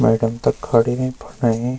मैडम तख खड़ी हुई फुंडईं।